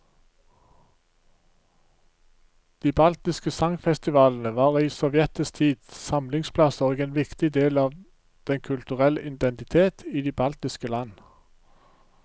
De baltiske sangfestivalene var i sovjetisk tid samlingsplasser og en viktig del av den kulturelle identitet i de baltiske land.